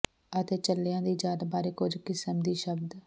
ਅਤੇ ਚਲਿਆ ਦੀ ਯਾਦ ਬਾਰੇ ਕੁਝ ਕਿਸਮ ਦੀ ਸ਼ਬਦ